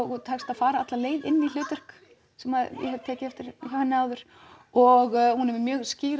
og tekst að fara alla leið inn í hlutverk sem ég hef tekið eftir hjá henni áður og hún er með mjög skýra